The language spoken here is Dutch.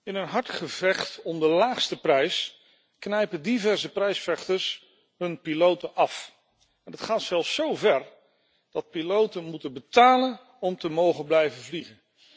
In een hard gevecht om de laagste prijs knijpen diverse prijsvechters hun piloten af. Dat gaat zelfs zo ver dat piloten moeten betalen om te mogen blijven vliegen.